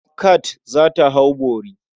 Kand za ta hau bori.